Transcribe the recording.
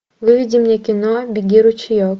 выведи мне кино беги ручеек